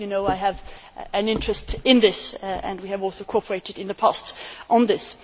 As you know, I have an interest in this and we have also cooperated in the past on this.